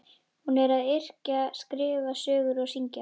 Hún er að yrkja, skrifa sögur og syngja.